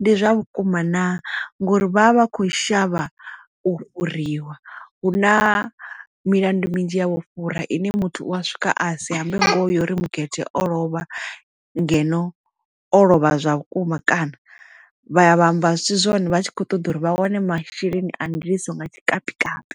ndi zwa vhukuma naa ngori vha vha vha kho shavha u fhuriwa hu na milandu midzhi ya vho fhura ine muthu u a swika a si ambe uri mugede o lovha ngeno o lovha zwa vhukuma kana vha ya vha amba zwisi zwone vha tshi kho ṱoḓa uri vha wane masheleni a ndiliso nga tshikapikapi.